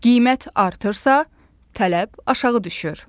Qiymət artırsa, tələb aşağı düşür.